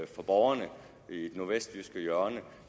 fra borgerne i det nordvestjyske hjørne